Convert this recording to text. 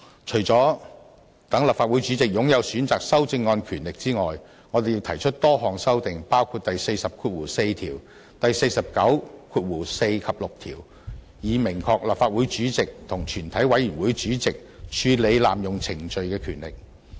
除了讓立法會主席擁有選擇修正案的權力外，我們亦提出多項修訂，包括第404條和第494及6條，以明確立法會主席和全委會主席處理濫用程序的權力。